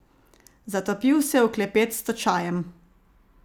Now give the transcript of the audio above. Zatopil se je v klepet s točajem.